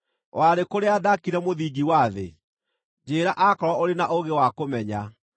“Warĩ kũ rĩrĩa ndaakire mũthingi wa thĩ? Njĩĩra akorwo ũrĩ na ũũgĩ wa kũmenya.